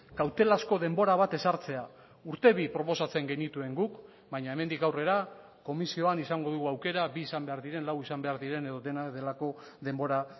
kautelazko denbora bat ezartzea urte bi proposatzen genituen guk baina hemendik aurrera komisioan izango dugu aukera bi izan behar diren lau izan behar diren edo dena delako denbora